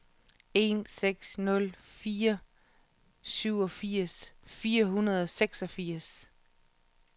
en seks nul fire syvogfirs fire hundrede og seksogfirs